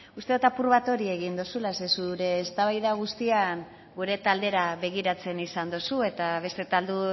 uste dot apur bat hori egin dozula ze zure eztabaida guztian gure taldera begiratzen izan dozu eta beste talde